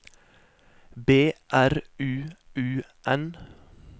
B R U U N